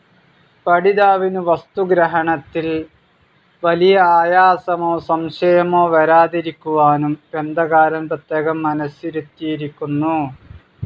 പഠിതാവിനു വസ്തുഗ്രഹണത്തിൽ വലിയ ആയാസമോ സംശയമോ വരാതിരിക്കുവാനും ഗ്രന്ഥകാരൻ പ്രത്യേകം മനസ്സിരുത്തിയിരിക്കുന്നു.